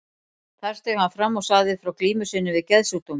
Þar steig hann fram og sagði frá glímu sinni við geðsjúkdóm.